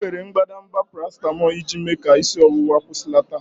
M were mbadamba paracetamol iji mee ka isi ọwụwa kwụsịlata.